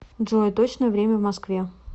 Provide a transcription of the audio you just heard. джой точное время в москве